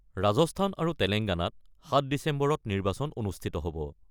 ৰাজস্থান আৰু তেলেংগানাত ৭ ডিচেম্বৰত নিৰ্বাচন অনুষ্ঠিত হ'ব।